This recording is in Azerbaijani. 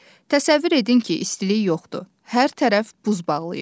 Təsəvvür edin ki, istilik yoxdur, hər tərəf buz bağlayıb.